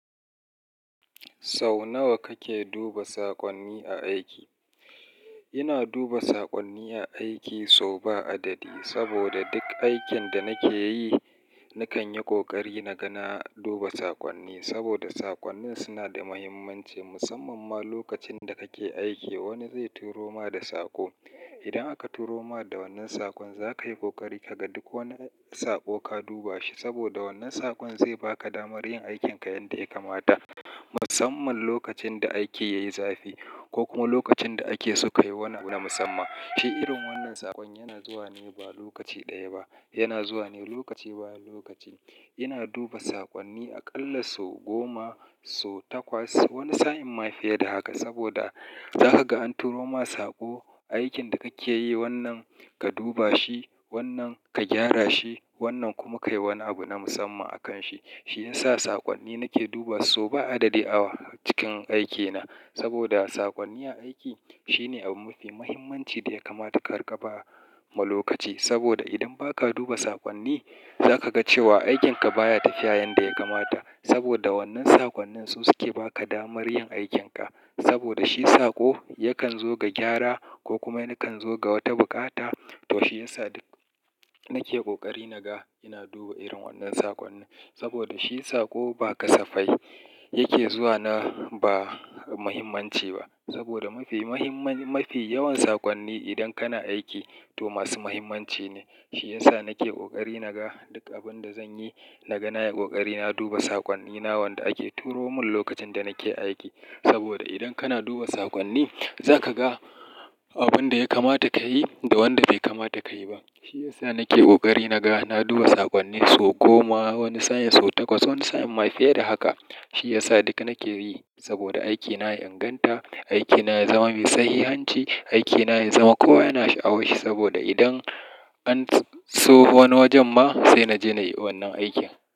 Sau nawa kake duba saƙonni a aiki? Ina duba saƙonni a aiki so ba adadi saboda duk aikin da nake yi, nakan yi ƙoƙari naga duba saƙonni saboda saƙonnin suna da mahimmanci musamman ma lokacin da kake aiki. Wani zai turo ma da saƙo. Idan aka turo ma da wannan saƙon, za ka yi ƙoƙari ka ga duk wani saƙo ka duba shi saboda wannan saƙon zai ba ka damar yin aikinka yanda ya kamata. Musamman lokacin da aiki yayi zafi ko kuma lokacin da ake so kayi wani abu na musamman. Shi irin wannan saƙon yana zuwa ne ba lokaci ɗaya ba, yana zuwa ne lokaci bayan lokaci. Ina duba saƙonni aƙalla so goma, so takwas wani sa'in ma fiye da haka saboda za ka ga an turo ma saƙo. Aikin da kake yi wannan ka duba shi, wannan ka gyara shi, wannan kuma kayi wani abu na musamma akan shi. Shiyasa saƙonni nake duba so ba adadi a cikin aikina saboda saƙonni a aiki shine abu mafi mahimmanci da ya kamata ka riƙa ba ma lokaci saboda idan ba ka duba saƙonni, za ka ga cewa aikinka baya tafiya yanda ya kamata saboda wannan saƙonnin su suke ba ka damar yin aikinka saboda shi saƙo yakan zo ga gyara ko kuma yakan zo ga wata buƙata. To shiyasa duk nake ƙoƙari naga ina duba irin wannan saƙonni saboda shi saƙo ba kasafai yake zuwa na ba mahimmanci ba saboda mafi mahimman, mafi yawan saƙonni idan kana aiki to masu mahimmanci ne. Shiyasa nake ƙoƙari naga duk abin da zanyi, naga na yi ƙoƙari na duba saƙonni na wanda ake turo mun lokacin da nake aiki saboda idan kana duba saƙonni, za ka ga abin da ya kamata kayi da wanda bai kamata kayi ba. Shiyasa nake ƙoƙari naga na duba saƙonni so goma wani sa'i, so takwas wani sa'in ma fiye da haka. Shiyasa duk nake yi saboda aikina ya inganta, aikina ya zama mai sahihanci, aikina ya zama kowa yana sha'awar shi saboda idan an so wani wajen ma sai naji nai wannan aikin.